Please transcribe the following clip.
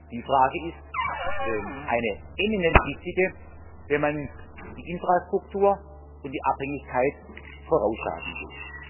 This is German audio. Die Frage ist eine eminent wichtige, wenn man die Infrastruktur und die Abhängigkeit voraussagen will.